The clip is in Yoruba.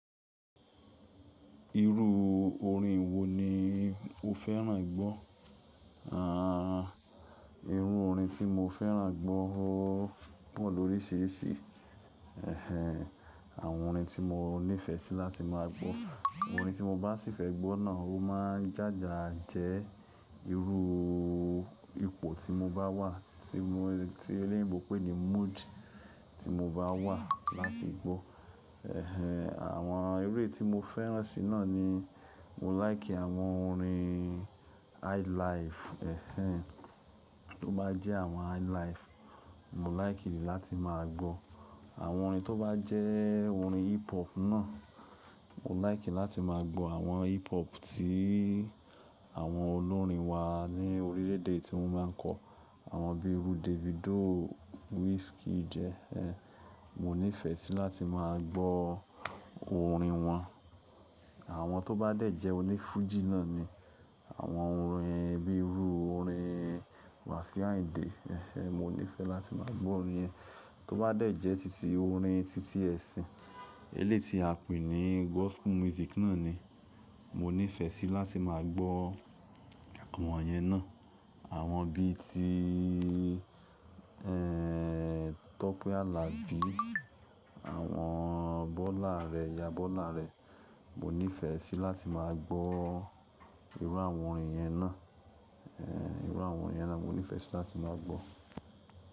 Irú orin wo ni o fẹ́ràn gbọ́? Ah, irú orin tí mo fẹ́ràn gbọ́ o pọ̀ lóríṣiríṣi. Ẹ̀hẹn, àwọn orin tí mo nífẹ̀ẹ́ sí láti máa gbọ́, orin tí mo bá sì fẹ́ gbọ́ náà ó máa jája jẹ irú ipò tí mo bá wà, tí mo, tí eléèbò pè ní mood tí mo bá wà láti gbọ́. Ẹ̀hẹn, àwọn eré tí mo fẹ́ràn sí náà ni, mo láìkì àwọn orin highlife. Ẹ̀hẹn, tó bá jẹ́ àwọn highlife, mo láìkì ní láti máa gbọ́. Àwọn orin tó bá jẹ́ orin hip hop náà, mo láìkì láti máa gbọ́ àwọn hip hop tí àwọn olórin wa ní orílẹ̀ èdè tí wọ́n máa ń kọ. Àwọn bíi irú Davido, Wizkid. Ẹ̀hẹn, mo nífẹ̀ẹ́ sí láti máa gbọ́ orin wọn. Àwọn tó bá dẹ̀ jẹ́ oní Fuji náà ni àwọn orin bíi irú orin Wasiu Ayinde. Ẹ̀hẹn, mo nífẹ̀ẹ́ láti máa gbọ́ orin ẹ. Tó bá dẹ̀ jẹ́ titi orin titi ẹ̀sìn, eléèti a pè ní gospel music náà ni mo nífẹ̀ẹ́ sí láti máa gbọ́ àwọn yẹn náà. Àwọn bí i ti, ẹ́ n, Tope Alabi, àwọn Bọ́lá Àrẹ, Ìyá Bọ́lá Àrẹ, mo nífẹ̀ẹ́ sí láti máa gbọ́ irú àwọn orin yẹn náà. Ẹ̀hẹn, irú àwọn orin yẹn là mo nífẹ̀ẹ́ sí láti máa gbọ́.